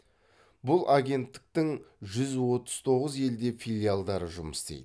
бұл агенттіктің жүз отыз тоғыз елде филиалдары жұмыс істейді